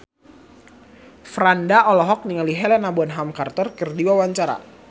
Franda olohok ningali Helena Bonham Carter keur diwawancara